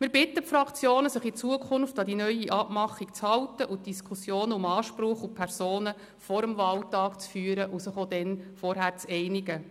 Wir bitten die Fraktionen, sich in Zukunft an die neue Abmachung zu halten, die Diskussionen um Anspruch und Personen vor dem Wahltag zu führen und sich dann auch vorher zu einigen.